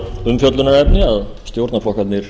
umfjöllunarefni að stjórnarflokkarnir